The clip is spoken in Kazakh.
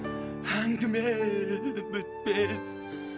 әңгіме бітпес